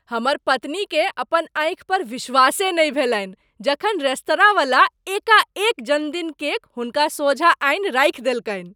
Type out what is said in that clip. हमर पत्नीकेँ अपन आँखि पर विश्वासे नहि भेलनि जखन रेस्तरांवला एकाएक जन्मदिन केक हुनका सोझाँ आनि राखि देलकनि।